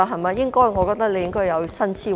我認為局長應該有新思維。